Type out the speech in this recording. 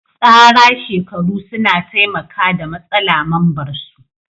Tsara shekaru suna taimaka da matsala mambar su.